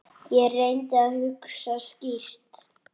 Ég reyndi að hugsa skýrt.